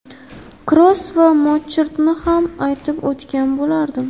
Kroos va Modrichni ham aytib o‘tgan bo‘lardim.